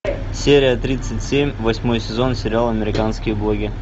серия тридцать семь восьмой сезон сериал американские боги